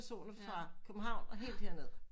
Fra København og helt her ned